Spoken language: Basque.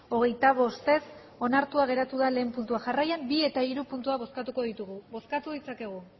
hogeita bost ez onartua geratu da lehen puntua jarraian bi eta hiru puntua bozkatuko ditugu bozkatu ditzakegu